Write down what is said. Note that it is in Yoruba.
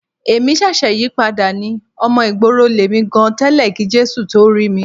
Èmi ṣẹ̀ṣẹ̀ yípadà ni. Ọmọ ìgboro lèmi gan tẹ́lẹ̀ kí Jésù tó rí mi.